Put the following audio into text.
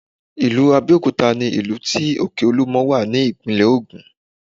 Ilu Abẹ́òkúta ni ìlú tí òkè olúmọ wà ní ìpínlẹ̀ Ògùn